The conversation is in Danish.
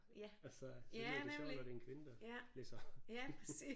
Altså så lyder det sjovt når det er en kvinde der læser